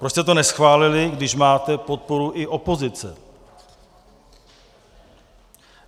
Proč jste to neschválili, když máte podporu i opozice?